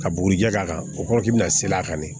Ka bugurijɛ k'a kan o kɔrɔ k'i bɛna se a kan dɛ